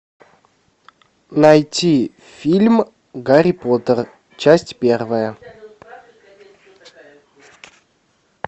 найти фильм гарри поттер часть первая